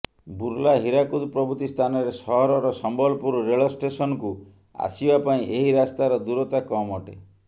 ବୁର୍ଲା ହୀରାକୁଦ ପ୍ରଭୃତି ସ୍ଥାନରେ ସହରର ସମ୍ବଲପୁର ରେଳ ଷ୍ଟେସନକୁ ଆସିବା ପାଇଁ ଏହି ରାସ୍ତାର ଦୂରତା କମଅଟେ